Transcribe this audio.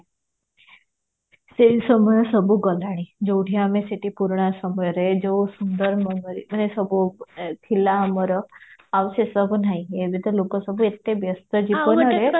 ସେଇ ସମୟ ସବୁ ଗଲାଣି ଯୋଉଠି ଆମେ ସେଠି ପୁରୁଣା ସମୟରେ ଯୋଉ ସୁନ୍ଦର ମାନେ ସବୁ ଥିଲା ଆମର ଆଉ ସେସବୁ ନାହି ଏବେ ତ ଲୋକ ସବୁ ଏତେ ବ୍ୟସ୍ତ ଜୀବନରେ